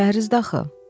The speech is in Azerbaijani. Pəhrizdə axı.